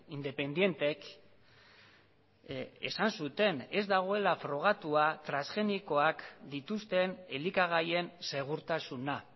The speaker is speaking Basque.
independentek esan zuten ez dagoela frogatua transgenikoak dituzten elikagaien segurtasuna